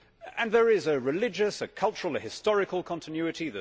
And there is a religious, a cultural, a historical continuity